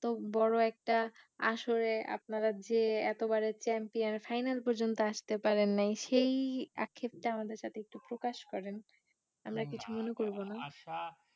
বড়ো একটা আসরে আপনারা যে এতো বারের champion final পর্যন্ত আসতে পারেন নেই সেই আক্ষেপটা আমাদের সাথে একটু প্রকাশ করেন আমরা কিছু মনে করবো না